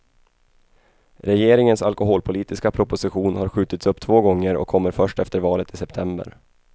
Regeringens alkoholpolitiska proposition har skjutits upp två gånger och kommer först efter valet i september.